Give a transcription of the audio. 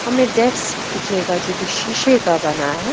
हमें डेस्क दिखेगा जो कि शीशे का बना है।